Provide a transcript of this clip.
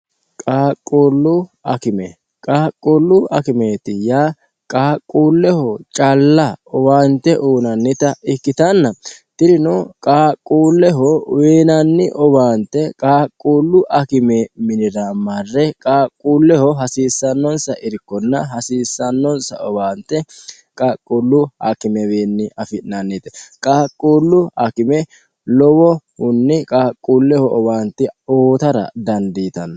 qaaqquullu akimeeti yaa qaaqquulleho calla owaante uunannita ikkitanna tinino qaaqquulleho wiinanni owaante qaaqquullu akime minira marre qaaqquulleho hasiissannonsa irkonna hasiissannonsa owaante qaaqquullu hakimewiinni afi'nannite qaaqquullu akime lowo kunni qaaqquulleho owaante ootara dandiitanno